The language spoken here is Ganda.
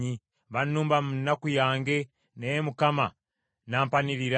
Bannumba mu nnaku yange naye Mukama n’ampanirira.